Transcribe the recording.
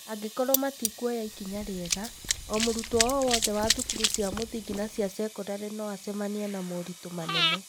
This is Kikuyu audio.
Angĩkorũo matikuoya ikinya rĩega, o mũrutwo o wothe wa thukuru cia mũthingi na cia sekondarĩ no acemanie na na moritũ manene.